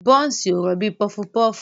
Bọ́nsì ò rọ̀ bíi pọfupọfu.